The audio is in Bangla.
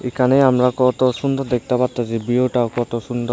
এখানে আমরা কত সুন্দর দেখতে পারতাসি বিউটা কত সুন্দর।